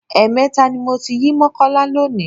Ẹ̀ẹ̀mẹta ni mo ti yí Mọ́kọ́lá lónìí.